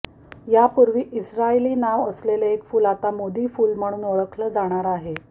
यापूर्वी इस्रायली नाव असलेले एक फुल आता मोदी फुल म्हणून ओळखलं जाणार आहे